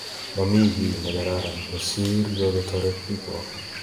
Momi kit nekararan kosir yoketoret biikwok